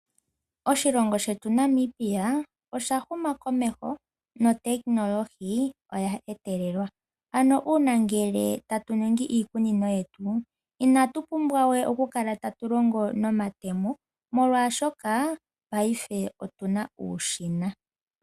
Oshilongo shetu Namibia osha huma komeho notekinolohi oya etelelwa, ano uuna ngele tatu ningi iikunino yetu inatu pumbwa we oku kala tatu longo nomatemo molwaashoka paife otuna uushina.